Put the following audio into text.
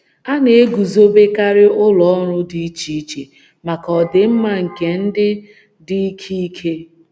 A na - eguzobekarị ụlọ ọrụ dị iche iche maka ọdịmma nke ndị dị ike ike....